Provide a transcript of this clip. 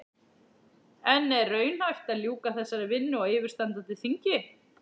En er raunhæft að ljúka þessari vinnu á yfirstandandi þingi?